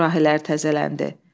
Sürahilər təzələndi.